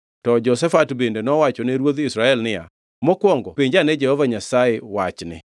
To Jehoshafat bende nowachone ruodh Israel niya, “Mokwongo penj ane Jehova Nyasaye wachni.”